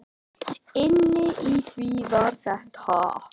Inni í því var þetta.